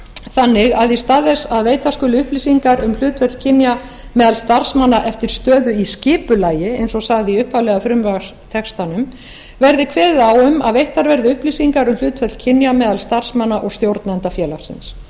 þannig að í stað þess að veita skuli upplýsingar um hlutföll kynja meðal starfsmanna eftir stöðu í skipulagi eins og sagði í upphaflega frumvarpstextanum verði kveðið á um að veittar verði upplýsingar um hlutföll kynja meðal starfsmanna og stjórnenda félagsins